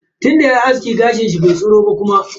Tunda yayi aski, gashin kanshi bai tsiro ba kuma.